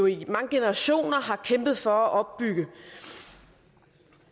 i mange generationer har kæmpet for at opbygge